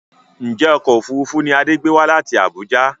Ǹjẹ́ ọkọ̀ òfuurufú ni Adé gbé wá láti Abuja?